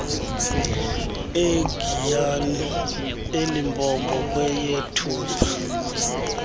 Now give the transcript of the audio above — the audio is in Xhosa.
egiyani elimpopo kweyethupha